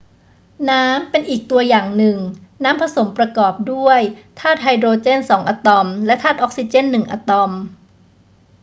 น้ำเป็นอีกตัวอย่างหนึ่ง น้ำผสมมประกอบด้วยธาตุไฮโดรเจนสองอะตอมและธาตุออกซิเจนหนึ่งอะตอม